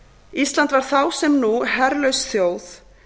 ísland var þá sem nú herlaus þjóð